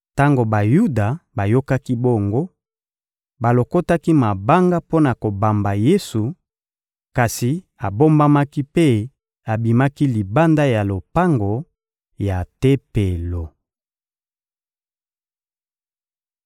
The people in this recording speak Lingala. Tango Bayuda bayokaki bongo, balokotaki mabanga mpo na kobamba Yesu, kasi abombamaki mpe abimaki libanda ya lopango ya Tempelo.